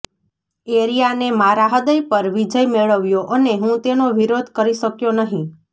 એરિયાને મારા હૃદય પર વિજય મેળવ્યો અને હું તેનો વિરોધ કરી શક્યો નહીં